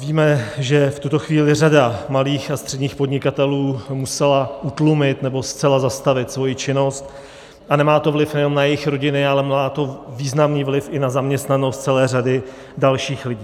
Víme, že v tuto chvíli řada malých a středních podnikatelů musela utlumit nebo zcela zastavit svoji činnost, a nemá to vliv nejenom na jejich rodiny, ale má to významný vliv i na zaměstnanost celé řady dalších lidí.